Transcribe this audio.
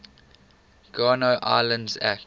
guano islands act